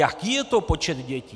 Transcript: Jaký je to počet dětí?